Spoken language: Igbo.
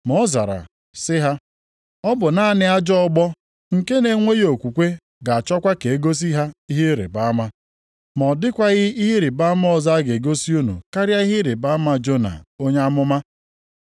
Ma ọ zara sị ha, “Ọ bụ naanị ajọ ọgbọ nke na-enweghị okwukwe ga-achọkwa ka e gosi ha ihe ịrịbama. Ma ọ dịkwaghị ihe ịrịbama ọzọ a ga-egosi unu karịa ihe ịrịbama Jona onye amụma.